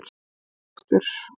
Lifi Þróttur.